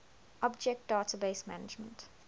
object database management